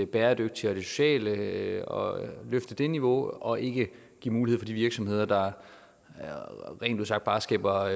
bæredygtige og det sociale og løfte det niveau og ikke give mulighed for de virksomheder der rent ud sagt bare skaber